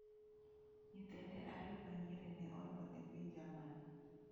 Nyithinde ariyo ma nyiri ne onyuol e piny Jerman.